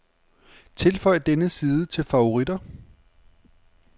Tilføj denne side til favoritter.